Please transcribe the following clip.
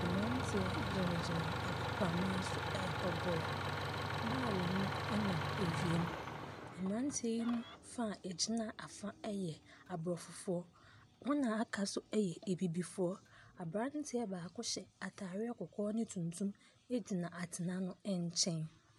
Mmeranteɛ gyinagyina agoprama so rebɔ bɔɔlo. Bɔɔlo nonam wiem. Mmeranteɛ yi mu fa a wɔgyina afa yɛ Aborɔfofoɔ. Wɔn a wɔaka nso yɛ abibifoɔ. Aberanteɛ baako hyɛ atadeɛ kɔkɔɔ ne tunyum gyina atena no nkyɛn.